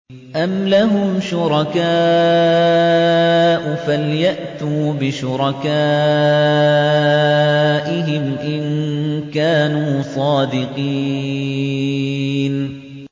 أَمْ لَهُمْ شُرَكَاءُ فَلْيَأْتُوا بِشُرَكَائِهِمْ إِن كَانُوا صَادِقِينَ